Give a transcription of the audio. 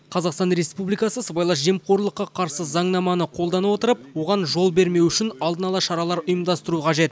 қазақстан республикасы сыбайлас жемқорлыққа қарсы заңнаманы қолдана отырып оған жол бермеу үшін алдын ала шаралар ұйымдастыру қажет